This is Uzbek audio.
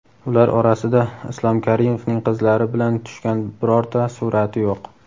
ular orasida Islom Karimovning qizlari bilan tushgan birorta surati yo‘q.